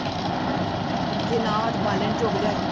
ਜੇ ਨਾ ਬਾਲਣ ਚੁੱਗ ਲਿਆਏ।